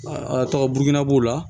tɔgɔ burukina b'o la